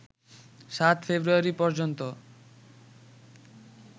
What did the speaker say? ৭ February পর্যন্ত